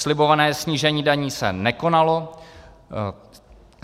Slibované snížení daní se nekonalo.